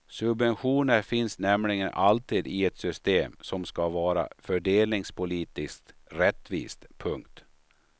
Subventioner finns nämligen alltid i ett system som ska vara fördelningspolitiskt rättvist. punkt